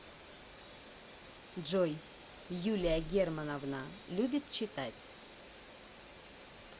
джой юлия германовна любит читать